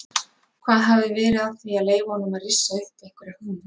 Hvað hafi verið að því að leyfa honum að rissa upp einhverja hugmynd?